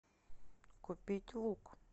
купить лук